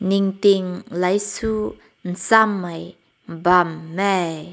ni ting lai su zam mai bam nae.